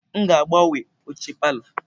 M ga-agbanwe oche palọ.